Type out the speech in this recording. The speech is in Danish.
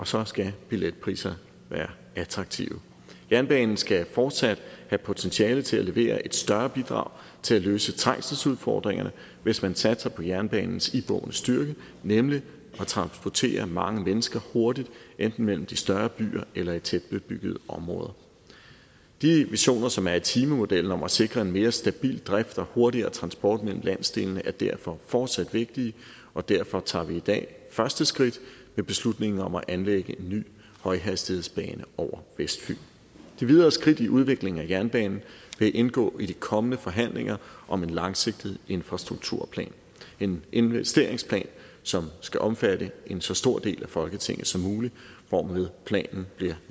så skal billetpriserne være attraktive jernbanen skal fortsat have potentiale til at levere et større bidrag til at løse trængselsudfordringerne hvis man satser på jernbanens iboende styrke nemlig at transportere mange mennesker hurtigt enten mellem de større byer eller i tætbebyggede områder de visioner som er i timemodellen om at sikre en mere stabil drift og hurtigere transport mellem landsdelene er derfor fortsat vigtige og derfor tager vi i dag første skridt med beslutningen om at anlægge en ny højhastighedsbane over vestfyn de videre skridt i udviklingen af jernbanen vil indgå i de kommende forhandlinger om en langsigtet infrastrukturplan en investeringsplan som skal omfatte en så stor del af folketinget som muligt hvormed planen bliver